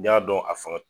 N y'a dɔn a fanga